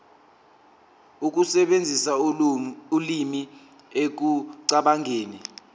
ukusebenzisa ulimi ekucabangeni